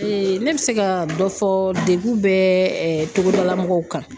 ne bɛ se ka dɔ fɔ , degun bɛɛ togodala mɔgɔw kan.